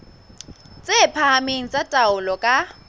tse phahameng tsa taolo ka